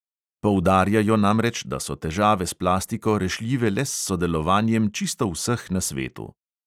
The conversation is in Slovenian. Poudarjajo namreč, da so težave s plastiko rešljive le s sodelovanjem čisto vseh na svetu.